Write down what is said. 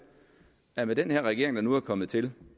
at med den her regering der nu er kommet til